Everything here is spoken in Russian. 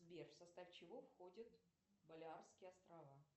сбер в состав чего входят балеарские острова